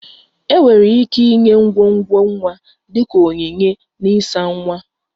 Enwere ike inye ngwongwo nwa dị ka onyinye na ịsa nwa